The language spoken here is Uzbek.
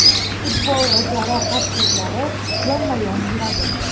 Futbol va jarohat so‘zlari yonma-yon yuradi.